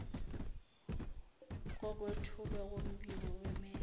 kokwethulwa kombiko wemeya